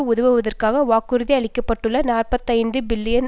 உதவுவதற்காக வாக்குறுதியளிக்கப்பட்டுள்ள நாற்பத்தி ஐந்து பில்லியன்